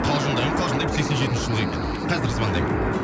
қалжындаймын қалжындаймын сексен жетінші жылғы екен қазір звондаймын